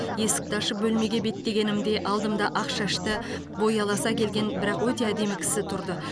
есікті ашып бөлмеге беттегенімде алдымда ақ шашты бойы аласа келген бірақ өте әдемі кісі тұрды